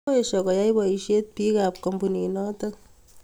koesho koyai boishet biik ab kampunit notok